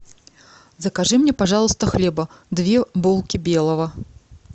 закажи мне пожалуйста хлеба две булки белого